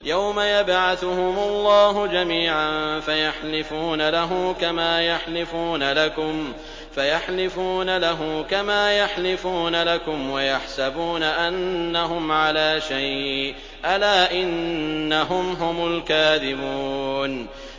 يَوْمَ يَبْعَثُهُمُ اللَّهُ جَمِيعًا فَيَحْلِفُونَ لَهُ كَمَا يَحْلِفُونَ لَكُمْ ۖ وَيَحْسَبُونَ أَنَّهُمْ عَلَىٰ شَيْءٍ ۚ أَلَا إِنَّهُمْ هُمُ الْكَاذِبُونَ